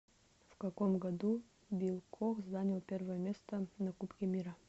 в каком году билл кох занял первое место на кубке мира